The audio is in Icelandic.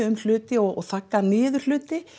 um hluti og þaggað niður hluti